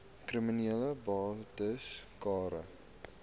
kriminele bates cara